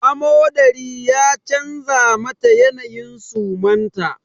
Amodari ya canza mata yanayin suman ta